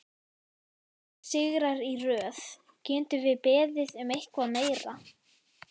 Þrír sigrar í röð, getum við beðið um eitthvað meira?